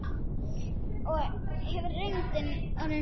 En hefur reyndin orðið svo?